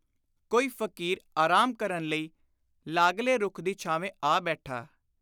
ਕੋਈ ਫ਼ਕੀਰ ਆਰਾਮ ਕਰਨ ਲਈ ਲਾਗਲੇ ਰੁੱਖ ਦੀ ਛਾਵੇਂ ਆ ਬੈਠਾ।